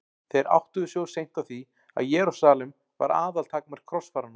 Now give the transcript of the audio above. Þeir áttuðu sig of seint á því að Jerúsalem var aðaltakmark krossfaranna.